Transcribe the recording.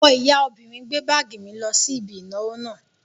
Ọmọ ìyá obìnrin gbé báàgì mi lọ sí ibi ìnáwó náà